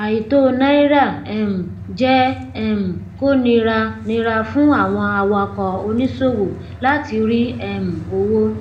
àìtó náírà um jẹ um kó nira nira fún àwọn awakọ oníṣòwò láti rí um owó